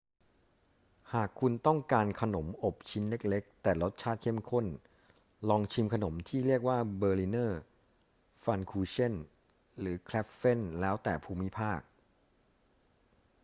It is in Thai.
หากคุณต้องการขนมอบชิ้นเล็ก ๆ แต่รสชาติเข้มข้น ลองชิมขนมที่เรียกว่า berliner pfannkuchen หรือ krapfen แล้วแต่ภูมิภาค